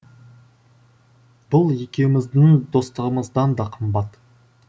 бұл екеуміздің достығымыздан да қымбат